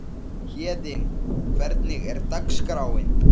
Héðinn, hvernig er dagskráin?